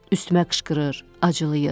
Üstümə qışqırır, acılayır.